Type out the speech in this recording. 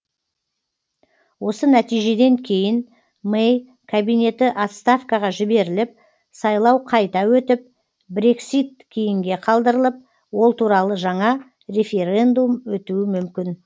осы нәтижеден кейін мэй кабинеті отставкаға жіберіліп сайлау қайта өтіп брексит кейінге қалдырылып ол туралы жаңа референдум өтуі мүмкін